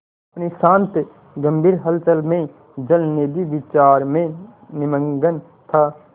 अपनी शांत गंभीर हलचल में जलनिधि विचार में निमग्न था